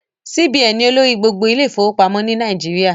CBN ni olórí gbogbo ilé ìfọwọ́pamọ́ ni Nàìjíríà